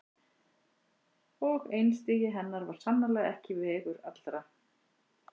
Og einstigi hennar var sannarlega ekki vegur allra.